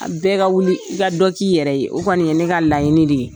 An bɛɛ ka wuli i ka dɔ k'i yɛrɛ ye, o kɔni ye ne ka laɲini de ye.